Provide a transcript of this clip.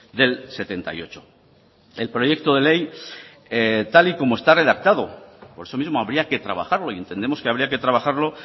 del setenta y ocho el proyecto de ley tal y como está redactado por eso mismo habría que trabajarlo y entendemos que habría que trabajarlo